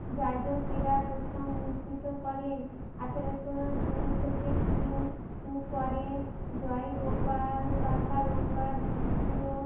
যাজকেরা প্রথম উদ্ধৃত করেন আঠারোশো দুই থেকে তিন পরে জয় গোপাল সরকালঙ্কার দ্বিতীয়